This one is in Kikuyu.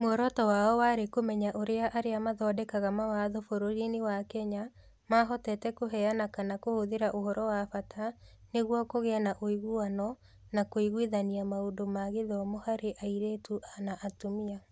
Muoroto wao warĩ kũmenya ũrĩa arĩa mathondekaga mawatho bũrũriinĩ wa Kenya mahotete kũheana kana kũhũthĩra ũhoro wa bata nĩguo kũgĩe na ũiguano na kũiguithania maũndũ ma gĩthomo harĩ airĩtu na atumia.